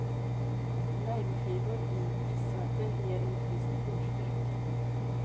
Limeskivor i isvatten ger en frisk bordsdryck.